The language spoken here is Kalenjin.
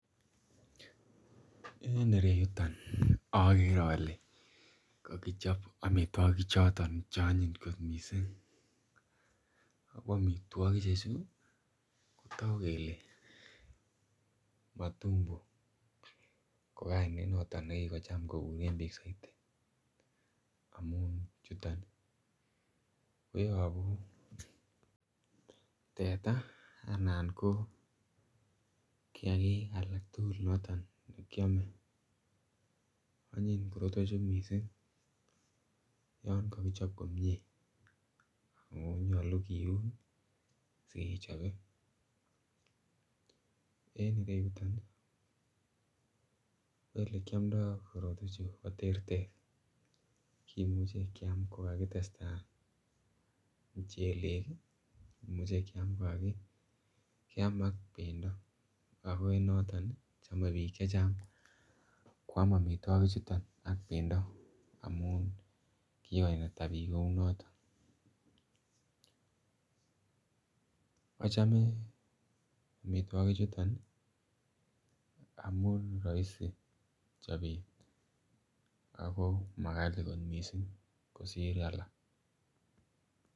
En ireyuton ogere ole kokichob omitwokik che onyiny kot missing ako omitwikichu kotogu kelee matumbo ko kainet noton ne kikocham bik koguren soiti amun chuto koyobu teta anan ko kiyakik alak tugul che kyome. Onyiniy korotwechu kot missing yon kokichob komie ako nyoluu kiun sikechobee , en ireyuton ko ele kyomdo koretwechu ko terter. kimuche kyam ko kakitesta muchelek ii kimuche kyam ko kakakyam ak bendo ako noton kochome biik chechang kwam omitwoki chuton ak bendo amun kigo naita bik kouu noton. Ochome omitwokii chuton ii amun roisii chobet ago magalii kot missing kosir alak